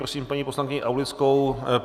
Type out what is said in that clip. Prosím paní poslankyni Aulickou.